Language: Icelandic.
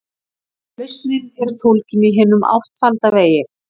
Lausnin er fólgin í hinum áttfalda vegi.